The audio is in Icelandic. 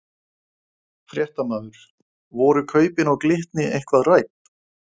Fréttamaður: Voru kaupin á Glitni eitthvað rædd?